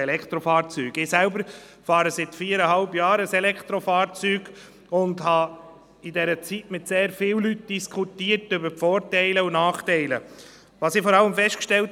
Der Regierungsrat geht ja schon in die gleiche Richtung wie der Vorstoss.